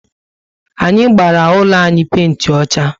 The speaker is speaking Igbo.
Anyị gbara úlọ anyị penti ọchá